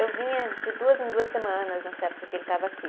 Eu vinha de duas em duas semanas nessa época que ele estava aqui.